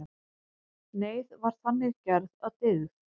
Neyð var þannig gerð að dygð.